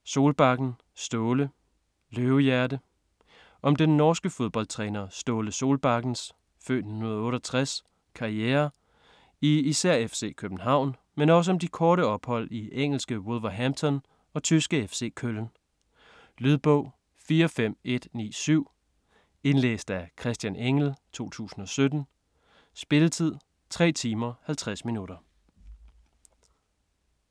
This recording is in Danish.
Solbakken, Ståle: Løvehjerte Om den norske fodboldtræner Ståle Solbakkens (f. 1968) karriere i især FC København, men også om de korte ophold i engelske Wolverhampton og tyske FC Köln. Lydbog 45197 Indlæst af Christian Engell, 2017. Spilletid: 3 timer, 50 minutter.